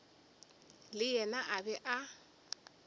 le yena a be a